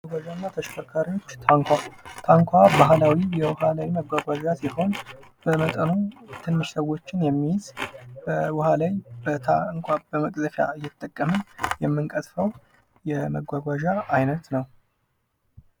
መጓጓዣ እና ተሽከርካሪዎች ታንኳ ታንኳ ባህላዊ የውሃ ላይ መጓጓዣ ሲሆን በመጠኑም ትንሽ ሰዎች የሚይዝ ውሃ ላይ በታንኳ በመቅዘፍያ እየተጠቀምን የምንቀዝፈው የመጓጓዣ አይነት ነው።